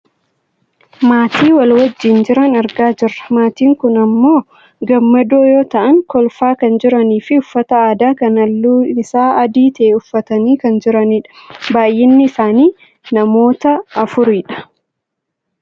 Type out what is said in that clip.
maatii wal wajjiin jiran argaa jirra . Maatiin kun ammoo gammadoo yoo ta'an kolfaa kan jiraniifi uffata aadaa kan halluun isaa adii ta'e uffatanii kan jiranidha. baayyinni isaanii namoota afuridha.